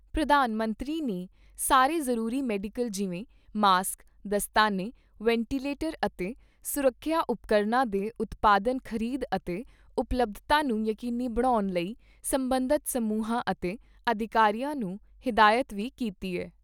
ਪ੍ਰਧਾਨ ਮੰਤਰੀ ਨੇ ਸਾਰੇ ਜ਼ਰੂਰੀ ਮੈਡੀਕਲ ਜਿਵੇਂ ਮਾਸਕ, ਦਸਤਾਨੇ ਵੈਟੀਲੇਟਰ ਅਤੇ ਸੁਰੱਖਿਆ ਉਪਕਰਨਾਂ ਦੇ ਉਤਪਾਦਨ ਖ਼ਰੀਦ ਅਤੇ ਉਪਲੱਬਧਤਾ ਨੂੰ ਯਕੀਨੀ ਬਣਾਉਣ ਲਈ ਸਬੰਧਤ ਸਮੂਹਾਂ ਅਤੇ ਅਧਿਕਾਰੀਆਂ ਨੂੰ ਹਿਦਾਇਤ ਵੀ ਕੀਤੀ ਐ।